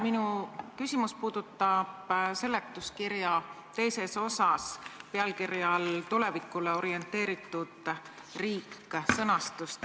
Minu küsimus puudutab seletuskirja II osas pealkirja all "Tulevikule orienteeritud riik" olevat sõnastust.